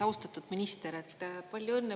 Austatud minister, palju õnne!